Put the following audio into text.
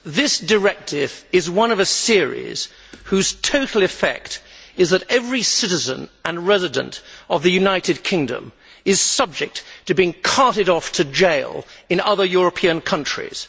Madam President, this directive is one of a series whose total effect is that every citizen and resident of the United Kingdom is subject to being carted off to jail in other European countries.